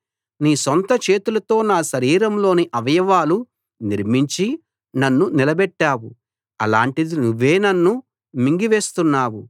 నీ సొంత చేతులతో నా శరీరంలోని అవయవాలు నిర్మించి నన్ను నిలబెట్టావు అలాంటిది నువ్వే నన్ను మింగివేస్తున్నావు